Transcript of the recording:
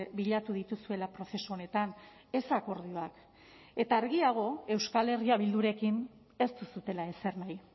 bilatu dituzuela prozesu honetan ez akordioak eta argiago euskal herria bildurekin ez duzuela ezer nahi